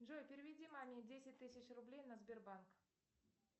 джой переведи маме десять тысяч рублей на сбербанк